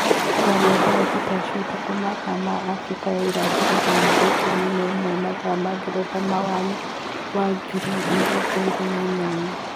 Kwaarĩ thaa thita cia ũtũkũ mathaa ma Abirika ya irathiro kana thaa ikumi na imwe mathaa ma Ngeretha mwaini wa ngiri mĩrongo ĩĩrĩ na inyanya.